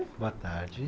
Boa tarde.